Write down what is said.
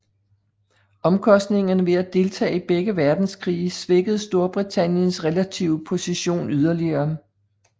Omkostningerne ved at deltage i begge verdenskrige svækkede Storbritanniens relative position yderligere